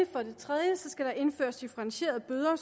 for det tredje indføres differentierede bøder